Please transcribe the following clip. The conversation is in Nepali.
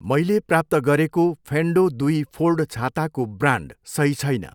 मैले प्राप्त गरेको फेन्डो दुई फोल्ड छाताको ब्रान्ड सही छैन।